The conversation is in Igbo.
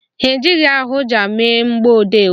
Ha ji ahụaja mee mgbọodee ojii